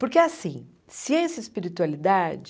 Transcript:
Porque, assim, ciência e espiritualidade...